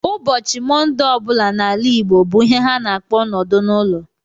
Ụbọchị Mọnde ọ bụla n'ala Igbo bụ ihe ha na-akpọ nọdụ n'ụlọ